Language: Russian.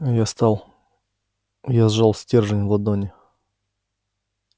я стал я сжал стержень в ладони